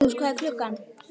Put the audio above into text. Þura, viltu hoppa með mér?